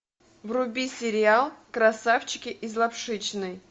вруби сериал красавчики из лапшичной